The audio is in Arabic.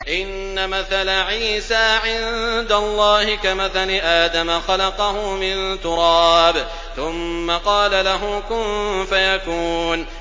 إِنَّ مَثَلَ عِيسَىٰ عِندَ اللَّهِ كَمَثَلِ آدَمَ ۖ خَلَقَهُ مِن تُرَابٍ ثُمَّ قَالَ لَهُ كُن فَيَكُونُ